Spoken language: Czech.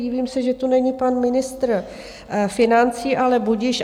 Divím se, že tu není pan ministr financí, ale budiž.